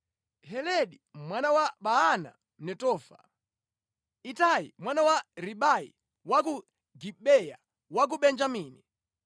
Heledi mwana wa Baana Mnetofa, Itai mwana wa Ribai wa ku Gibeya ku Benjamini,